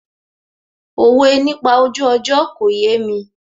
Òwe nípa ojú ọjọ́ kò yémi